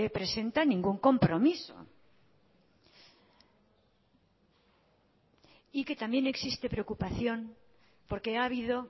presenta ningún compromiso y que también existe preocupación porque ha habido